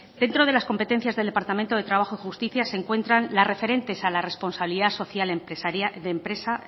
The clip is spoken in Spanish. dentro de las competencias del departamento de trabajo y justicia se encuentran las referentes a la